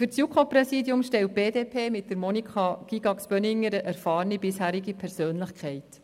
Für das JuKo-Präsidium stellt die BDP mit Monika Gygax-Böninger eine erfahrene bisherige Persönlichkeit.